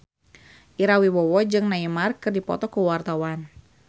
Ira Wibowo jeung Neymar keur dipoto ku wartawan